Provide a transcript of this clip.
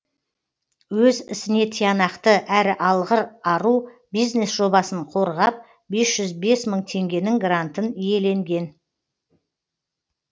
өз ісіне тиянақты әрі алғыр ару бизнес жобасын қорғап бес жүз бес мың теңгенің грантын иеленген